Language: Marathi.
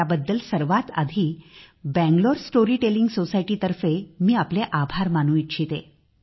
त्याबद्दल सर्वात आधी बंगळूर स्टोरीटेलिंग सोसायटी तर्फे मी आपले आभार मानू इच्छिते